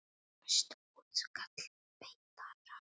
Næsta útkall beið þeirra.